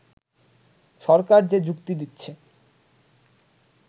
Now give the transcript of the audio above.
সরকার যে যুক্তি দিচ্ছে